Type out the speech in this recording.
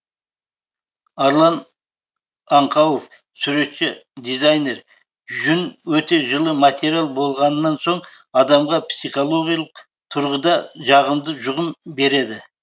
арлан аңқауов суретші дизайнер жүн өте жылы материал болғаннан соң адамға психологиялық тұрғыда жағымды жұғым береді